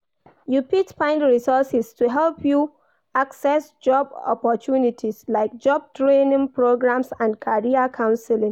You fit find resources to help you access job opportunites, like job training programs and career counseling.